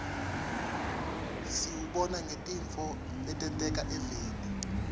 siwubona ngetintfo letenteka eveni